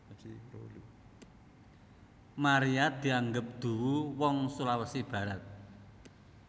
Maria dianggep duwu wong Sulawesi Barat